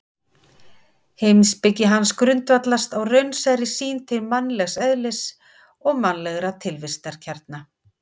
Heimspeki hans grundvallast á raunsærri sýn til mannlegs eðlis og mannlegra tilvistarkjara.